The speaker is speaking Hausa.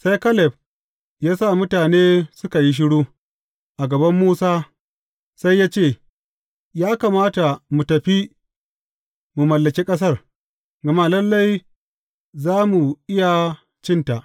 Sai Kaleb ya sa mutane suka yi shiru a gaban Musa, sai ya ce, Ya kamata mu tafi mu mallaki ƙasar, gama lalle za mu iya cinta.